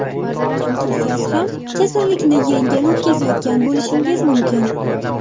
Chunki siz ham kasallikni yengil o‘tkazayotgan bo‘lishingiz mumkin.